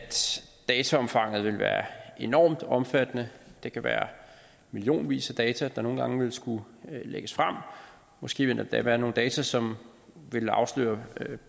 dataomfanget vil være enormt omfattende det kan være millionvis af data der nogle gange vil skulle lægges frem måske vil der endda være nogle data som vil afsløre